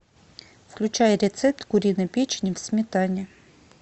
включай рецепт куриной печени в сметане